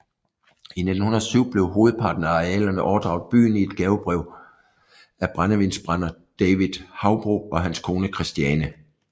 I 1907 blev hovedparten af arealerne overdraget byen i et gavebrev af brændevinsbrænder David Haubro og hans kone Christiane